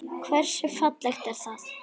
Hversu fallegt er það?